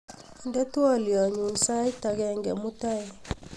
inde twolyonyun sait agenge mutai